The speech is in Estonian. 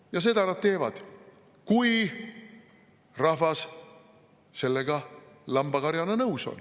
" Ja seda nad teevad, kui rahvas sellega lambakarjana nõus on.